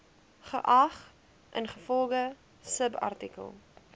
geag ingevolge subartikel